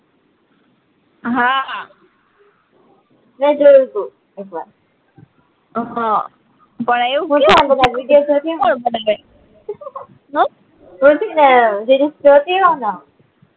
હા મે જોયું ટુ એક વાર હમ જીજુ નો લોઈ પીવાનો